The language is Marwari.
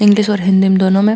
इंग्लिश और हिन्दी दोनों में --